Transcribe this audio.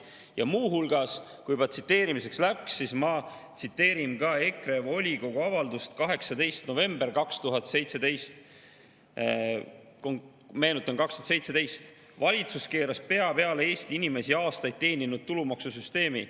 Ja muu hulgas, kui juba tsiteerimiseks läks, siis ma tsiteerin EKRE volikogu avaldust 18. novembrist 2017: "Valitsus keeras pea peale Eesti inimesi aastaid teeninud tulumaksusüsteemi.